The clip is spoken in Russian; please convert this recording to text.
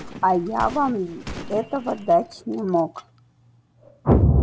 а я вам этого дать не мог